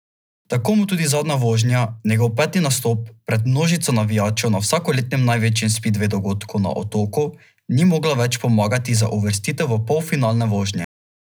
Tako mu tudi zadnja vožnja, njegov peti nastop pred množico navijačev na vsakoletnem največjem spidvej dogodku na Otoku, ni mogla več pomagati za uvrstitev v polfinalne vožnje.